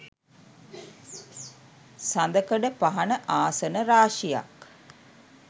සඳකඩපහණ ආසන රාශියක්